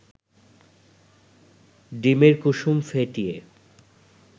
ডিমের কুসুম ফেটিয়ে